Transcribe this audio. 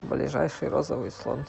ближайший розовый слон